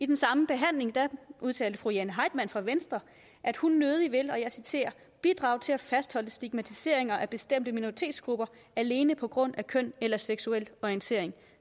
den samme behandling udtalte fru jane heitmann fra venstre at hun nødig ville bidrage til at fastholde stigmatiseringer af bestemte minoritetsgrupper alene på grund af køn eller seksuel orientering